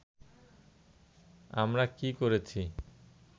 আমরা কী করেছি